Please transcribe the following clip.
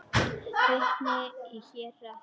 Vitni í héraði.